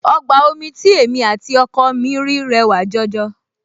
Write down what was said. Ọgbà omi tí èmi àti ọkọ mi rí rẹwà jọjọ